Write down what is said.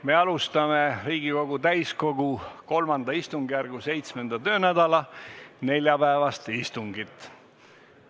Me alustame Riigikogu täiskogu III istungjärgu 7. töönädala neljapäevast istungit.